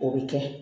O bɛ kɛ